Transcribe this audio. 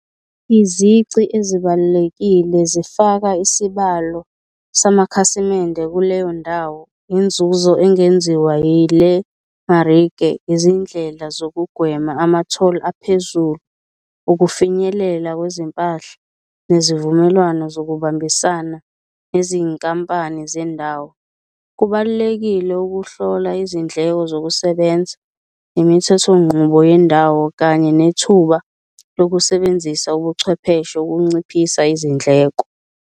Izici ezibalulekile zifaka isibalo samakhasimende kuleyo ndawo, inzuzo engenziwa yile , izindlela zokugwema ama-tholi aphezulu, ukufinyelela kwezimpahla nezivumelwano zokubambisana nezinkampani zendawo. Kubalulekile ukuhlola izindleko zokusebenza, imithethonqubo yendawo kanye nethuba lokusebenzisa ubuchwepheshe ukunciphisa izindleko.